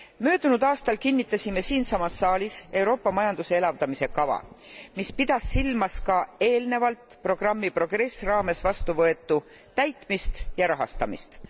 Möödunud aastal kinnitasime siinsamas saalis Euroopa majanduse elavdamise kava, mis pidas silmas ka eelnevalt programmi Progress raames vastuvõetu täitmist ja rahastamist.